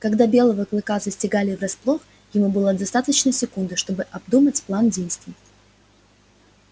когда белого клыка застигали врасплох ему было достаточно секунды чтобы обдумать план действий